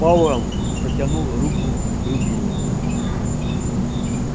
пауэлл протянул руку к рубильнику